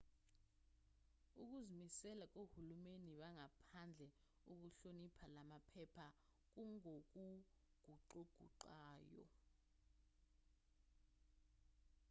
ukuzimisela kohulumeni bangaphandle ukuhlonipha lamaphepha kungokuguquguqukayo